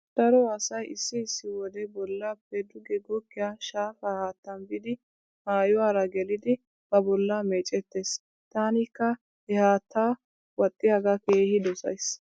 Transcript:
Daro asay issi issi wode bollappe duge goggiya shaafaa haattan biidi maayuwara gelidi ba bollaa meecettees. Taanikka he haatta wadhdhiyogaa keehi dosays.